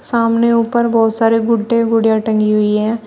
सामने ऊपर बहुत सारे गुड्डे गुड़िया टंगी हुई है।